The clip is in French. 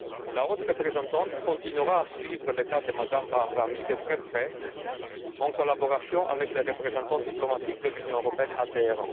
La haute représentante continuera à suivre le cas de Mme Bahrami de très près, en collaboration avec les représentants diplomatiques de l'Union européenne à Téhéran.